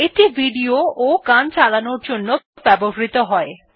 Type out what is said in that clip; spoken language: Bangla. এটি ভিডিও এবং গান চালানোর জন্য ব্যবহৃত হয়